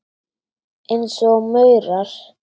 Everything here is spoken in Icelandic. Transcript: Eins og maurar.